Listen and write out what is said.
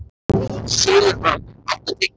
Sigurbrandur, áttu tyggjó?